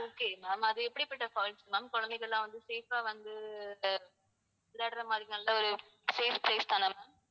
okay ma'am அது எப்படிப்பட்ட falls ma'am குழந்தைங்க எல்லாம் வந்து safe ஆ வந்து அஹ் விளையாடுற மாதிரி நல்ல ஒரு safe place தானே ma'am?